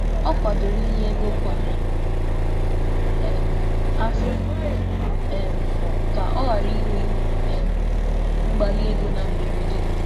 Ọ tụrụ atụmatụ ị̀nye ego kwa áfọ ka ọ ghàrà ịbata n’ihe mberede n’ego.